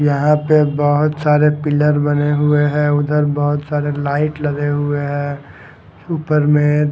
यहाँ पे बहुत सारे पिलर बने हुए हैं ऊधर बहुत सारे लाइट लगे हुए हैं ऊपर में --